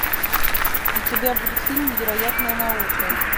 у тебя будет фильм невероятная наука